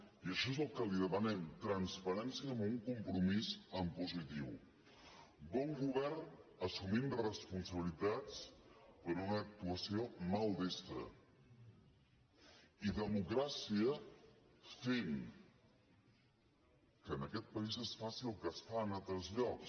i això és el que li demanem transparència en un com·promís en positiu bon govern assumint responsabili·tats per una actuació maldestra i democràcia fent que en aquest país es faci el que es fa en altres llocs